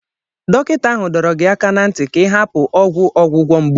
Dọkịta ahụ dọrọ gị aka ná ntị ka ị hapụ ọgwụ ọgwụgwọ mgbu.